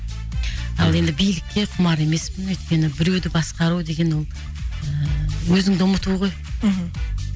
ал енді билікке құмар емеспін өйткені біреуді басқару деген ол ыыы өзіңді ұмыту ғой мхм